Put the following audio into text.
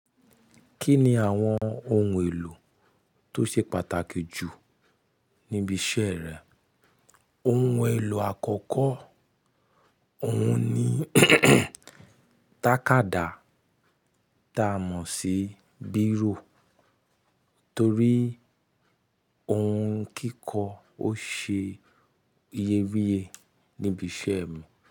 Kí ni àwọn ohun èlò tó ṣe pàtàkì jù níbi iṣẹ́ rẹ? Ohun èlò àkọ́kọ́ ọ̀hún ni tàkádá ta mọ̀ sí Bíró torí ohun kíkọ ó ṣe iye wiye níbi iṣẹ́ mi.